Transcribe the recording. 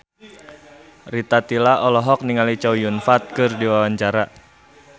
Rita Tila olohok ningali Chow Yun Fat keur diwawancara